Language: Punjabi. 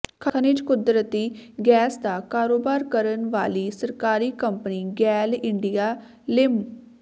ਖਣਿਜ ਕੁਦਰਤੀ ਗੈਸ ਦਾ ਕਾਰੋਬਾਰ ਕਰਨ ਵਾਲੀ ਸਰਕਾਰੀ ਕੰਪਨੀ ਗੇਲ ਇੰਡੀਆ ਲਿਮ